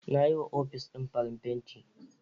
Nayi wa ofic din farin fenti